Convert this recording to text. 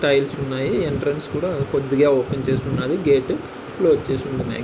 Tiles ఉన్నాయి. Entrance కూడా కొద్దిగా ఓపెన్ చేసి ఉన్నది. గేటు క్లోజ్ చేసి ఉన్న --